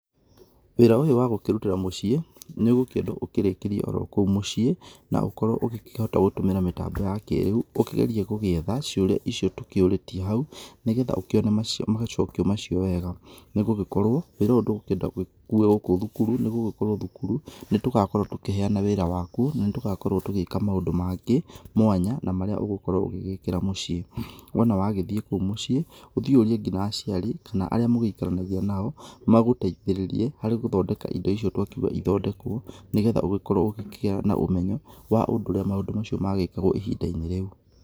Wĩra ũyũ wa gũkĩrũtĩra mũciĩ nĩ ũgũkĩendwo ũkĩrĩkĩrio oro kũu mũciĩ, na ũkorwo ũgĩkĩhota kũhũthĩra mĩtambo ya kĩrĩu ũkĩgerie gũgĩithe ciũria icio tũkĩorĩtio hau, nĩgetha ũkione macokio macio wega, nĩgũgĩkorwo wĩra ũyũ ndũgũkĩenda gũgĩkuo gũkũ cukuru, nĩgũgĩkorwo cukuru nĩtũgakorwo tũkĩhena wĩra wa kuo, na nĩ tũgakorwo tũgĩka maũndũ mangĩ mwanya na marĩa ũgũkorwo ũgĩgĩkĩra mũciĩ, wona wagĩthiĩ kũu mũciĩ ũthiĩ ũrie nginya aciari kana aria mwĩkaranagia nao magũteithĩrĩrie harĩ gũthondeka indo icio twa kĩũga cithondekwo, nĩgetha ũgĩkorwo ũgĩkĩgia na ũmenyo wa ũndũ ũria maũndũ macio mekagwo ihinda-inĩ rĩu.